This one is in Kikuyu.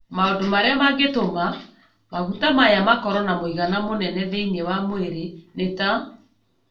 Maũndũ marĩa mangĩtũma maguta maya makorũo na mũigana mũnene thĩinĩ wa mwĩrĩ nĩ ta: